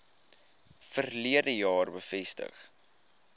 verlede jaar bevestig